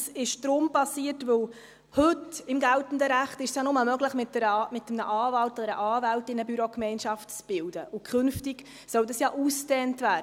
Das ist deshalb passiert, weil es heute im geltenden Recht nur möglich ist, mit einem Anwalt oder einer Anwältin eine Bürogemeinschaft zu bilden, und künftig soll das ja ausgedehnt werden.